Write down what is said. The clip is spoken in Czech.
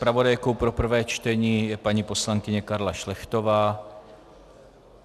Zpravodajkou pro prvé čtení je paní poslankyně Karla Šlechtová.